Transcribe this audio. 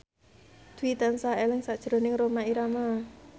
Dwi tansah eling sakjroning Rhoma Irama